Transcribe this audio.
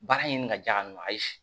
Baara ɲini ka di a ma ayi